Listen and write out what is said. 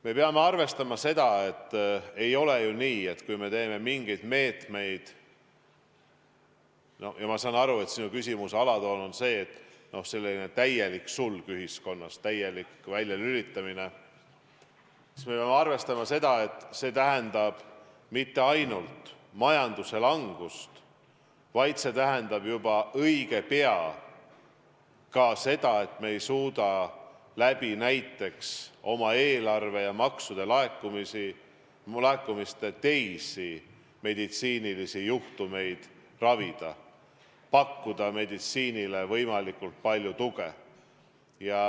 Me peame arvestama, et kui me võtame mingeid meetmeid – ma saan aru, et sinu küsimuse alatoon on see –, siis selline täielik sulg ühiskonnas, täielik väljalülitamine tähendab mitte ainult majanduslangust, vaid see tähendab juba õige pea ka seda, et me ei suuda näiteks oma eelarve ja maksulaekumiste abil teisi meditsiinilisi juhtumeid ravida, pakkuda meditsiinile võimalikult palju tuge.